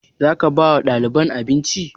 Zaka ba wa ɗaliban abinci?